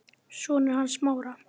Sonur hans Smára.